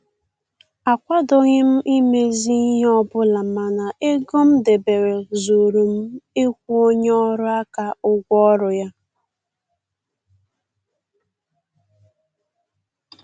Akwadoghị m imezi ihe ọbụla mana ego m debere zuuru m ịkwụ onye ọrụ aka ụgwọ ọrụ ya